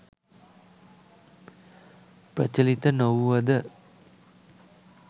ප්‍රචලිත නොවූවද